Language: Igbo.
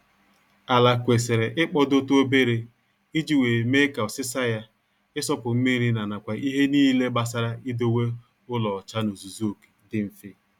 Ala kwesịrị ịkpọdotụ obere iji wee mee ka ọsịsa ya, ịsọpụ mmiri na nakwa ihe niile gbasara idowe ụlọ ọcha n'ozuzu oke, dị mfe